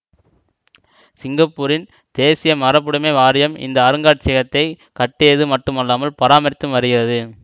சிங்கப்பூரின் தேசிய மரபுடமை வாரியம் இந்த அருங்காட்சியகத்தைக் கட்டியது மட்டுமல்லாமல் பராமரித்தும் வருகிறது